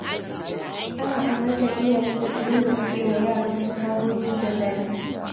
Ana umartar iyaye da su dinga buɗe wa yaransu tagogi da zafi.